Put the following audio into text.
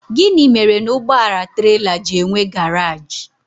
Gịnị mere na ụgbọala trela ji enwe garaj?